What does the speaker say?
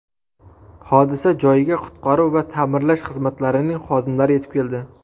Hodisa joyiga qutqaruv va ta’mirlash xizmatlarining xodimlari yetib keldi.